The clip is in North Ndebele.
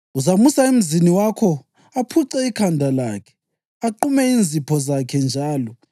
Uzamusa emzini wakho, aphuce ikhanda lakhe, aqume inzipho zakhe njalo